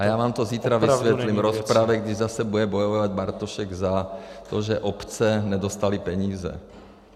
A já vám to zítra vysvětlím v rozpravě, kdy zase bude bojovat Bartošek za to, že obce nedostaly peníze.